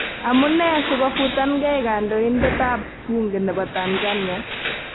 Amunee sikofutangei Kandoindet ap bunge nepo Tanzania?